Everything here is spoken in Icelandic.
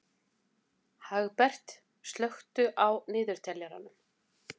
Hagbert, slökktu á niðurteljaranum.